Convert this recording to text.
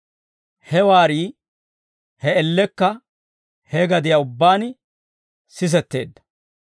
He waarii, he man''iyaan he gadiyaan ubbaan sisetteedda.